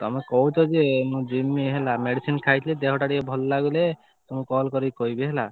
ତମେ କହୁଛ ଯେ ମୁଁ ଯିମି ହେଲା medicine ଖାଇଛି ଦେହ ଟା ଟିକେ ଭଲ ଲାଗିଲେ ମୁଁ call କରି କହିବି ହେଲା।